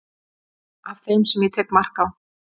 af þeim sem ég tek mark á